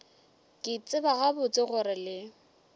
ke tseba gabotse gore le